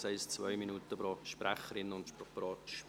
Das heisst zwei Minuten pro Sprecherin und Sprecher.